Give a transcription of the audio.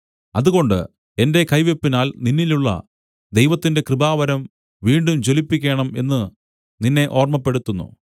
അതുകൊണ്ട് എന്റെ കൈവെപ്പിനാൽ നിന്നിലുള്ള ദൈവത്തിന്റെ കൃപാവരം വീണ്ടും ജ്വലിപ്പിക്കേണം എന്നു നിന്നെ ഓർമ്മപ്പെടുത്തുന്നു